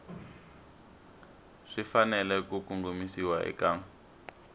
swi fanele ku kongomisiwa eka